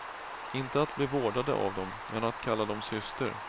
Inte att bli vårdade av dem, men att kalla dem syster.